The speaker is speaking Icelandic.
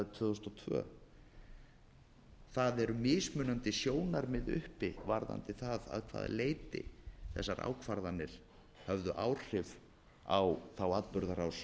tvö þúsund og tvö það eru mismunandi sjónarmið uppi varðandi það að hvaða leyti þessar ákvarðanir höfðu áhrif á þá atburðarás